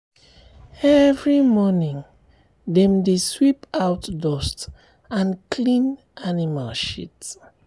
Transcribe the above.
every morning dem dey um sweep out dust and clean um animal shit."